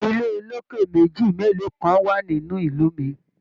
ilé oloke meji melo kan wa nínú ìlú mí.